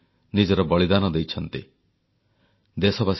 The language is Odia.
ଦଶମ ଏବଂ ଦ୍ୱାଦଶ ଶ୍ରେଣୀ ପରୀକ୍ଷାର୍ଥୀଙ୍କୁ ଜଣାଇଲେ ହାର୍ଦ୍ଦିକ ଶୁଭେଚ୍ଛା